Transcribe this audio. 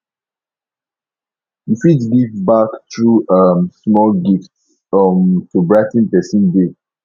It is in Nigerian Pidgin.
yu fit give back thru um small gifts um to brigh ten pesin day